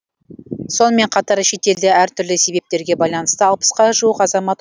сонымен қатар шетелде әртүрлі себептерге байланысты алпысқа жуық азамат